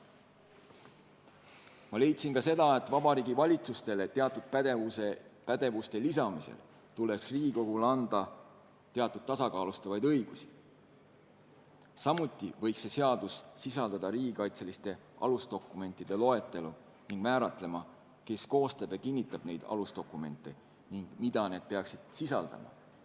Ma leidsin ka, et Vabariigi Valitsusele teatud pädevuste lisamisel tuleks Riigikogule anda teatud tasakaalustavaid õigusi, samuti võiks see seadus sisaldada riigikaitseliste alusdokumentide loetelu ning määratleda, kes koostab ja kinnitab neid alusdokumente ning mida need peaksid sisaldama.